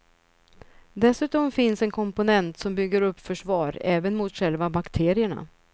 Dessutom finns en komponent som bygger upp försvar även mot själva bakterierna.